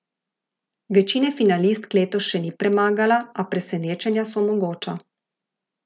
Večine finalistk letos še ni premagala, a presenečenja so mogoča.